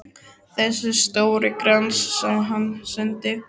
Þessi stóri krans sem hann sendi.